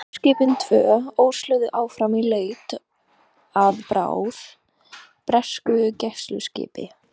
Systurskipin tvö ösluðu áfram í leit að bráð, bresku gæsluskipi.